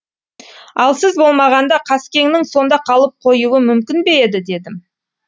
ал сіз болмағанда қаскеңнің сонда қалып қоюы мүмкін бе еді дедім